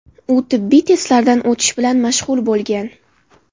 U tibbiy testlardan o‘tish bilan mashg‘ul bo‘lgan.